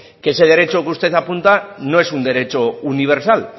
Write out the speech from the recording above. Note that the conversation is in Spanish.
que ese derecho que usted apunta no es un derecho universal